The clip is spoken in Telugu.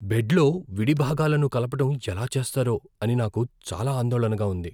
బెడ్లో విడిభాగాలను కలపటం ఎలా చేస్తారో అని నాకు చాలా ఆందోళనగా ఉంది.